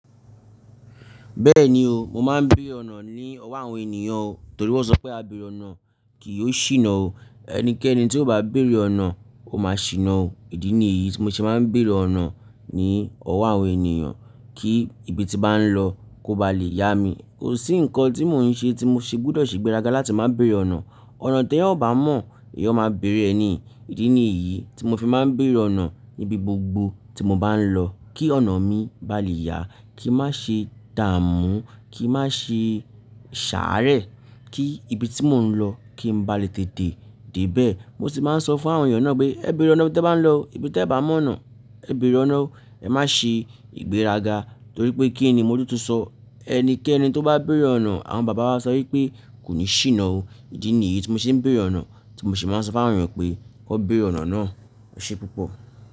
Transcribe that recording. Bẹ́ẹ̀ni o, mo máa ń béèrè ọ̀nà ní ọ̀wo àwọn ènìyàn o, torí wọ́n sọ pé ábéèrè ọ̀nà kì yóò ṣìnà o. Ẹnikẹ́ni tí ó bá béèrè ọ̀nà ó máa ṣìnà o. Ìdí nì yìí tí mo ṣe maá ń béèrè ọ̀nà ní ọ̀wo àwọn ènìyàn kí ibi tí ń ba nlọ kó ba lè yá mi. Kò sí nǹkan tí mò ń ṣe tí mo ṣe gbọ́dọ̀ ṣe igbéraga láti máa béèrè ọ̀nà. Ọ̀nà tí ẹeyan ó bá mọ̀ ẹeyan máa béèrè ẹ ni. Ìdí nì yìí tí mo fi máa ń béèrè ọ̀nà níbi gbogbo tí mo bá ń lọ kí ọ̀nà mi bá lè yá, kí n má ṣe dààmú, kí n má ṣe ṣàárẹ̀, kí ibi tí mò ń lọ kí n bá lè tètè dé bẹ́ẹ̀. Mo sì máa ń sọ fún àwọn ènìyàn náà pé, "Ẹ béèrè ọ̀nà ibi tẹ bá ń lọ, ibi tí ẹ bá mọ̀ ọ̀nà ẹ béèrè ọ̀nà o. Ẹ má ṣe ìgbéraga." Torí pé kíni Motun tun sọ? Ẹnikẹ́ni tó bá béèrè ọ̀nà àwọn bàbá wa sọ wípé kò ní ṣìnà o. Ìdí nì yìí tí mo ṣe ń béèrè ọ̀nà, tí mo sì máa ń sọ fún àwọn ènìyàn pé kí wọ́n béèrè ọ̀nà náà. E sé púpọ̀